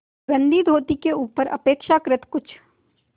गंदी धोती के ऊपर अपेक्षाकृत कुछ